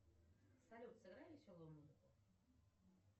салют сыграй веселую музыку